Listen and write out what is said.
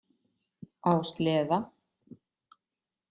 Á sleða.